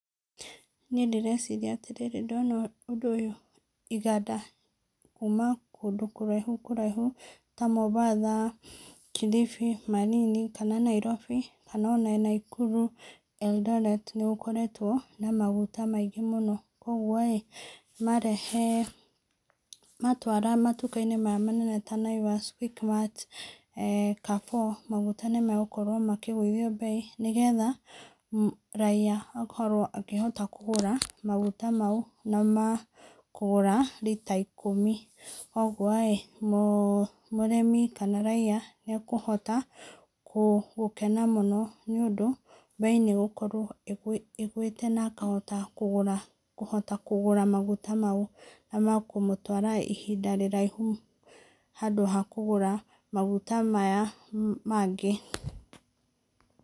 Niĩ ndĩrecirĩrĩa atĩ rĩrĩ ndona ũndũ ũyũ iganda kũma kũndũ kũraihũ kũraihũ ta Mombasa, Kilifi, Malindi kana na Nairobi kana ona Nakuru Eldoret nĩgũkoretwo na magũta maingĩ mũno kwogwo, marehe matwara matũka inĩ maya manene ta Naivas, Quick mart, Carrefour maguta nĩ magũkorwo makĩgũĩthĩa bei, nĩ getha raĩa akorwo akĩhota kũgũra magũta maũ na ma kũgũra lĩta ikũmi. Ũgũo mũrĩmi kana raĩa nĩakũhota gũkena mũno nĩ ũndũ beĩ nĩgũkorwo ĩgũĩte na akahota kũgũra magũta maũ na ma kũmũtwara ihĩinda riraihũ handũ ha kũgũra maguta maya mangĩ.